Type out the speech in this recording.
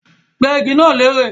Gbẹ́ igi náà lérè